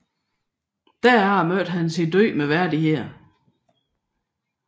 Derefter mødte han sin død med værdighed